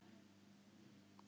Hún verður að flýta sér.